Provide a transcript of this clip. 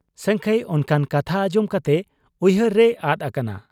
ᱥᱟᱹᱝᱠᱷᱟᱹᱭ ᱚᱱᱠᱟᱱ ᱠᱟᱛᱷᱟ ᱟᱸᱡᱚᱢ ᱠᱟᱛᱮ ᱩᱭᱦᱟᱹᱨ ᱨᱮᱭ ᱟᱫ ᱟᱠᱟᱱᱟ ᱾